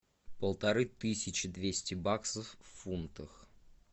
полторы тысячи двести баксов в фунтах